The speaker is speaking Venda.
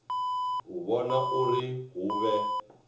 u vhona uri hu vhe